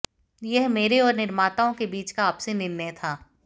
यह मेरे और निर्माताओं के बीच का आपसी निर्णय था